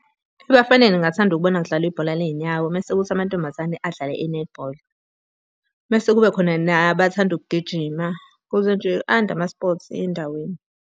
Ebafaneni ngingathanda ukubona kudlalwa ibhola ley'nyawo mese kuthi amantombazane adlale inethibholi. Mese kube khona nabathanda ukugijima ukuze nje ande ama-sports endaweni.